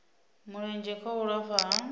mulenzhe kha u lafha ha